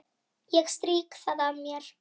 Ég strýk það af mér.